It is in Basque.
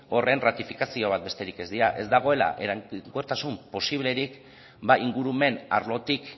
horren ratifikazio bat besterik ez dira ez dagoela eraginkortasun posiblerik ba ingurumen arlotik